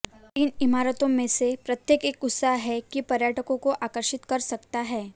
इन इमारतों में से प्रत्येक एक उत्साह है कि पर्यटकों को आकर्षित कर सकता है